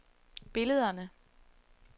billederne